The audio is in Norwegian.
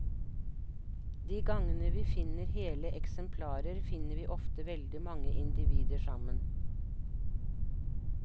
De gangene vi finner hele eksemplarer, finner vi ofte veldig mange individer sammen.